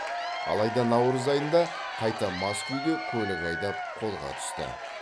алайда наурыз айында қайта мас күйде көлік айдап қолға түсті